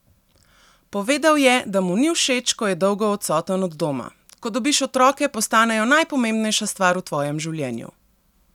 Povedal je, da mu ni všeč, ko je dolgo odsoten od doma: 'Ko dobiš otroke, postanejo najpomembnejša stvar v tvojem življenju.